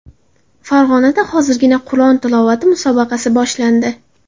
Farg‘onada hozirgina Qur’on tilovati musobaqasi boshlandi.